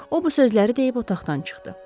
O bu sözləri deyib otaqdan çıxdı.